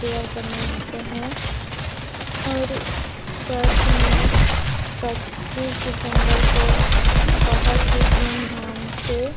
prayer करने आते हैं और चर्च मे पच्चीस दिसमबर को बहोत ही धूम-धाम से--